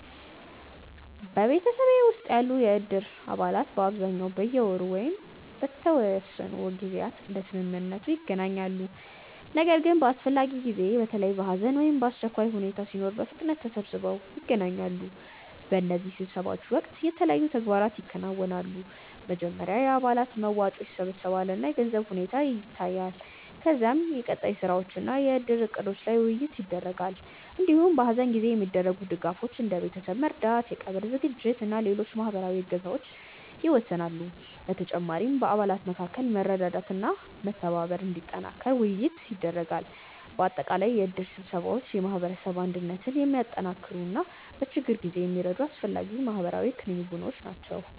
በማህበረሰቤ ውስጥ ያሉ የእድር አባላት በአብዛኛው በየወሩ ወይም በተወሰኑ ጊዜያት እንደ ስምምነቱ ይገናኛሉ። ነገር ግን በአስፈላጊ ጊዜ፣ በተለይ ሐዘን ወይም አስቸኳይ ሁኔታ ሲኖር በፍጥነት ተሰብስበው ይገናኛሉ። በእነዚህ ስብሰባዎች ወቅት የተለያዩ ተግባራት ይከናወናሉ። መጀመሪያ የአባላት መዋጮ ይሰበሰባል እና የገንዘብ ሁኔታ ይታያል። ከዚያ የቀጣይ ስራዎች እና የእድር እቅዶች ላይ ውይይት ይደረጋል። እንዲሁም በሐዘን ጊዜ የሚደረጉ ድጋፎች፣ እንደ ቤተሰብ መርዳት፣ የቀብር ዝግጅት እና ሌሎች ማህበራዊ እገዛዎች ይወሰናሉ። በተጨማሪም በአባላት መካከል መረዳዳትና መተባበር እንዲጠናከር ውይይት ይደረጋል። በአጠቃላይ የእድር ስብሰባዎች የማህበረሰብ አንድነትን የሚያጠናክሩ እና በችግር ጊዜ የሚረዱ አስፈላጊ ማህበራዊ ክንውኖች ናቸው።